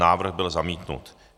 Návrh byl zamítnut.